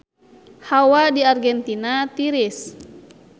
Hawa di Argentina tiris